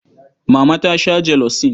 Mama ta sha jelosin.